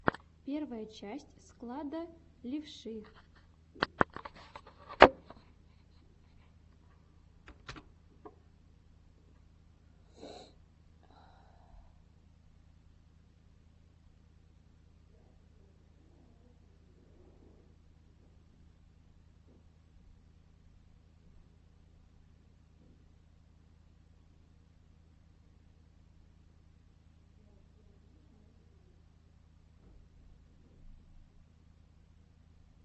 первая часть склада левши